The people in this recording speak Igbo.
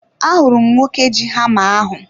Ahụrụ m nwoke ji hama ahu